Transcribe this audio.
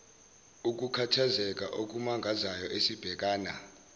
ukukhathazeka okumangazayo esibhekana